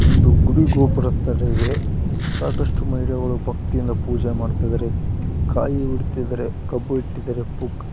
ಒಂದು ಗುಡಿ ಗೋಪುರ ತರ ಇದೆ ಸಾಕಷ್ಟು ಮಹಿಳೆಯರು ಭಕ್ತಿಯಿಂದ ಪೂಜೆ ಮಾಡುತ್ತಿದ್ದಾರೆ ಕಾಯಿ ಒಡಿತ್ತಿದ್ದಾರೆ ಕಬ್ಬು ಇಟ್ಟಿದ್ದಾರೆ --